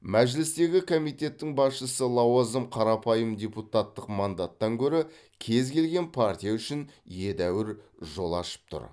мәжілістегі комитеттің басшысы лауазым қарапайым депутаттық мандаттан гөрі кез келген партия үшін едәуір жол ашып тұр